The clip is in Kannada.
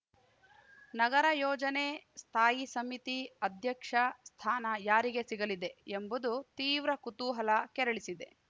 ನಗರ ಯೋಜನೆ ಸ್ಥಾಯಿ ಸಮಿತಿ ಅಧ್ಯಕ್ಷ ಸ್ಥಾನ ಯಾರಿಗೆ ಸಿಗಲಿದೆ ಎಂಬುದು ತೀವ್ರ ಕುತೂಹಲ ಕೆರಳಿಸಿದೆ